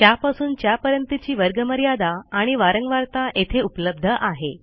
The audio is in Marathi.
च्यापासून च्यापर्यंतची वर्गमर्यादा आणि वारंवारता येथे उपलब्ध आहे